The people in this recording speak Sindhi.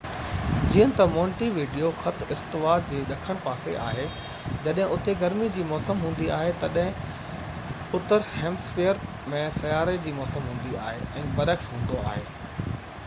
جيئن تہ مونٽي ويڊيو خط استوا جي ڏکڻ پاسي آهي جڏهن اتي گرمي جي موسم هوندي آهي تڏهن اتر هيمسفئير ۾ سياروي جي موسم هوندي آهي ۽ برعڪس هوندو آهي